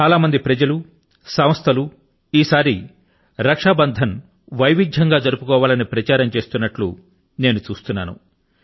చాలా మంది ప్రజలు సంస్థలు ఈసారి రక్షాబంధన్ ను వైవిధ్యం గా జరుపుకోవాలని ప్రచారం చేయడాన్ని నేను గమనిస్తున్నాను